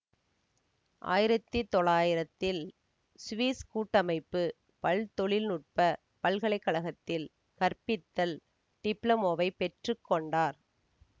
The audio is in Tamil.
ஆயிரத்தி தொள்ளாயிரதில் சுவிஸ் கூட்டமைப்பு பல்தொழில் நுட்ப பல்கலை கழகத்தில் கற்பித்தல் டிப்ளோமாவைப் பெற்று கொண்டார்